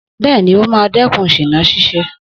Bẹ́ẹ̀ni, ó máa dẹ́kun ṣìná ṣíṣe